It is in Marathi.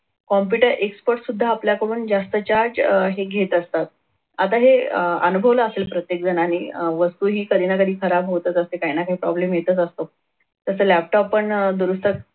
computer expert सुद्धा आपल्या कडून जास्त charge अह हे घेत असतात. आता हे अनुभवलं असेल प्रत्येक जनाने अह वस्तूही कधी ना कधी खराब होतच असते काहीना काही problem येत असतो तसं laptop पण दुरुस्त